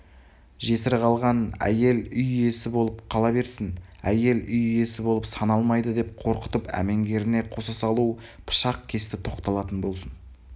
жесір қалған әйел үй иесі болып қала берсін әйел үй иесі болып саналмайды деп қорқытып әмеңгеріне қоса салу пышақ кесті тоқталатын болсын